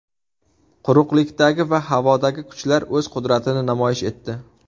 Quruqlikdagi va havodagi kuchlar o‘z qudratini namoyish etdi.